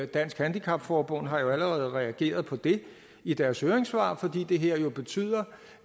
dansk handicap forbund har allerede reageret på det i deres høringssvar fordi det her jo betyder